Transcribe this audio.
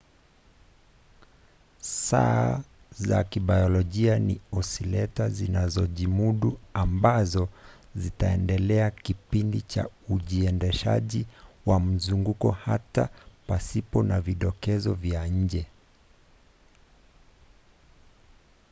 saa za kibiolojia ni osileta zinazojimudu ambazo zitaendeleza kipindi cha ujiendeshaji wa mzunguko hata pasipo na vidokezo vya nje